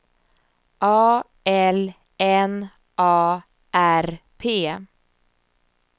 A L N A R P